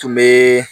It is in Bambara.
Tun bɛ